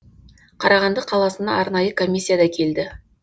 қарағанды қаласына арнайы комиссия да келді